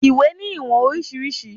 Iwé ni iwọn oriṣiriṣi